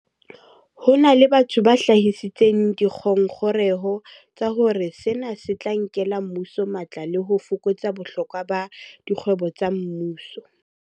Ho na le batho ba hlahisitseng dingongoreho tsa hore sena se tla nkela mmuso matla le ho fokotsa bohlokwa ba dikgwebo tsa mmuso.